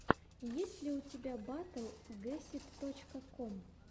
есть ли у тебя батл гесид точка ком